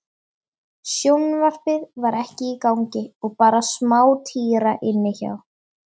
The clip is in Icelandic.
Sjónvarpið var ekki í gangi og bara smátíra inni hjá